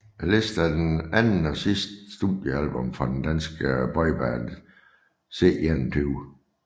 Listen er det andet og sidste studiealbum fra det danske boyband C21